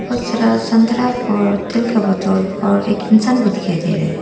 बहुत सारा संतरा और तेल का बोतल और एक इंसान भी दिखाई दे रहा है।